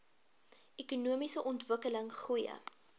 ekonomiese ontwikkeling goeie